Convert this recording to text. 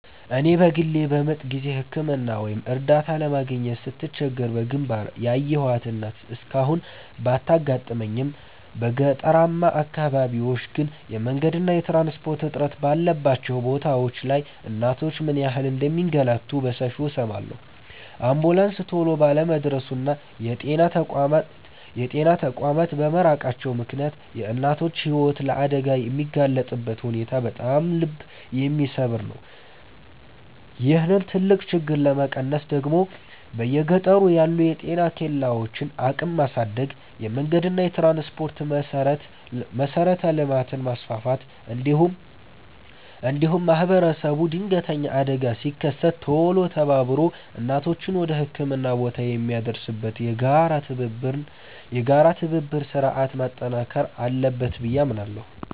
እኔ በግሌ በምጥ ጊዜ ሕክምና ወይም እርዳታ ለማግኘት ስትቸገር በግንባር ያየኋት እናት እስካሁን ባታጋጥመኝም፣ በገጠራማ አካባቢዎች ግን የመንገድና የትራንስፖርት እጥረት ባለባቸው ቦታዎች ላይ እናቶች ምን ያህል እንደሚንገላቱ በሰፊው እሰማለሁ። አምቡላንስ ቶሎ ባለመድረሱና የጤና ተቋማት በመራቃቸው ምክንያት የእናቶች ሕይወት ለአደጋ የሚጋለጥበት ሁኔታ በጣም ልብ የሚሰብር ነው። ይህንን ትልቅ ችግር ለመቀነስ ደግሞ በየገጠሩ ያሉ የጤና ኬላዎችን አቅም ማሳደግ፣ የመንገድና የትራንስፖርት መሠረተ ልማትን ማስፋፋት፣ እንዲሁም ማኅበረሰቡ ድንገተኛ አደጋ ሲከሰት ቶሎ ተባብሮ እናቶችን ወደ ሕክምና ቦታ የሚያደርስበትን የጋራ የትብብር ሥርዓት ማጠናከር አለበት ብዬ አምናለሁ።